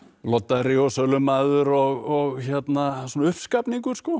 loddari og sölumaður og svona